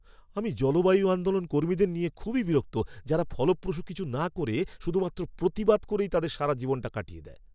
আমি জলবায়ু আন্দোলন কর্মীদের নিয়ে খুবই বিরক্ত যারা ফলপ্রসূ কিছু না করে শুধুমাত্র প্রতিবাদ করেই তাদের সারাটা জীবন কাটিয়ে দেয়।